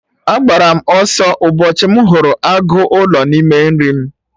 Agbara m ọsọ ụbọchị m hụrụ agụ ụlọ n'ime nri m